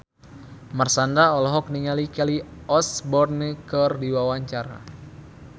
Marshanda olohok ningali Kelly Osbourne keur diwawancara